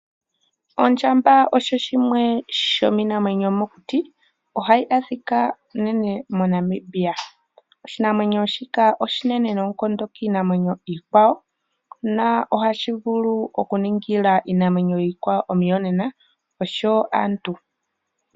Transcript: Ondjamba osho shimwe shomiinamwenyo yomokuti. Oha yi adhika unene moNamibia. Oshinamwenyo shika oshinene noonkondo kiinamwenyo iikwawo , na ohashi vulu okuningila iinamwenyo iikwawo onuyonena , osho wo aantu.